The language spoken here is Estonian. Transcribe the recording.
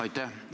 Aitäh!